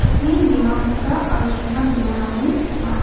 be·en bimang dal·a aro chona bimangrangoni ong·a.